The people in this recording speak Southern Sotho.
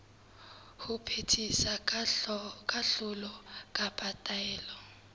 ho phethisa kahlolo kapa taelo